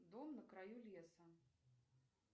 дом на краю леса